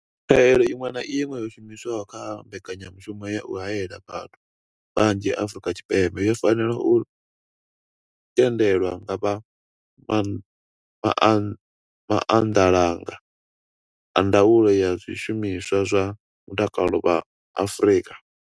Khaelo iṅwe na iṅwe yo shumiswaho kha mbekanyamushumo ya u haela vhathu vhanzhi Afrika Tshipembe yo fanela u tendelwa nga vha maanḓalanga a Ndaulo ya zwishumiswa zwa Mutakalo vha Afrika.